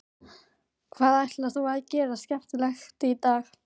Hvað ætlar þú að gera skemmtilegt í dag?